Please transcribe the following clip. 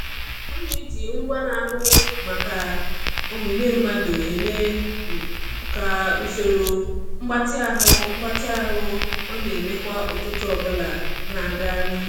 Ọ na-eji ngwa na-ahụ maka omume mmadụ eme ka usoro mgbatị ahụ mgbatị ahụ ọ na-eme kwa ụtụtụ ọbụla na-aga n'ihu.